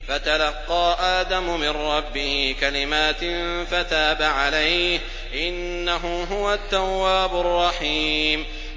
فَتَلَقَّىٰ آدَمُ مِن رَّبِّهِ كَلِمَاتٍ فَتَابَ عَلَيْهِ ۚ إِنَّهُ هُوَ التَّوَّابُ الرَّحِيمُ